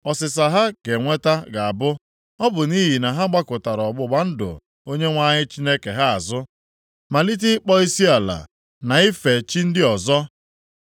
Ọsịsa ha ga-enweta ga-abụ, ‘Ọ bụ nʼihi na ha gbakụtara ọgbụgba ndụ Onyenwe anyị Chineke ha azụ, malite ịkpọ isiala na ife chi ndị ọzọ.’ ”